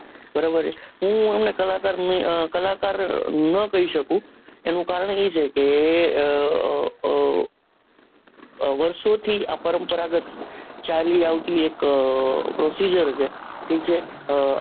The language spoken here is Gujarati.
બરોબર હું એમને કલાકાર અ કલાકાર ન કહી સકું એનું કારણ એ છે કે આહ વરસો થી જ આપનને આ પરંપરાગત ચાલી આવતું એક proccisor છે ઠીક છે આહ